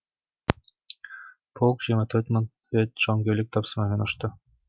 полк жиырма төрт мың рет жауынгерлік тапсырмамен ұшты